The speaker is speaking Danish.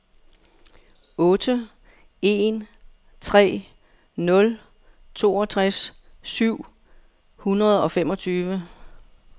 otte en tre nul toogtres syv hundrede og femogtyve